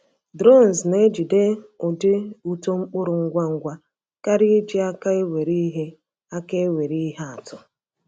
Drones na-ejide ụdị uto mkpụrụ ngwa ngwa karịa iji aka ewere ihe aka ewere ihe atụ.